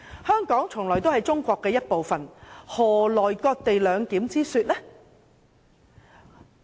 香港從來都是中國的一部分，何來"割地兩檢"之說？